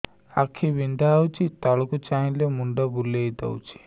ଆଖି ବିନ୍ଧା ହଉଚି ତଳକୁ ଚାହିଁଲେ ମୁଣ୍ଡ ବୁଲେଇ ଦଉଛି